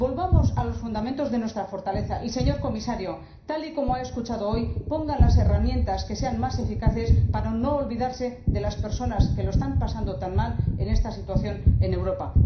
Volvamos a los fundamentos de nuestra fortaleza y, señor Comisario, tal y como ha escuchado hoy, pongan las herramientas que sean más eficaces para no olvidarse de las personas que lo están pasando tan mal en esta situación en Europa.